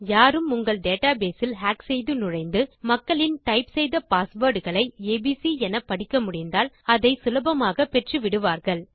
யாரும் உங்கள் டேட்டாபேஸ் இல் ஹாக் செய்து நுழைந்து மக்களின் டைப் செய்த பாஸ்வேர்ட் களை ஏபிசி என படிக்க முடிந்தால் அதை சுலபமாக பெற்று விடுவார்கள்